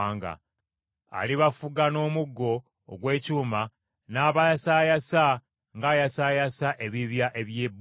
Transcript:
‘Alibafuga n’omuggo ogw’ekyuma, n’abayasaayasa ng’ayasaayasa ebibya eby’ebbumba.’